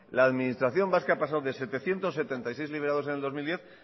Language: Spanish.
la administración vasca ha pasado de setecientos setenta y seis liberados en el dos mil diez